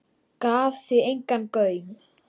Gaf því engan gaum.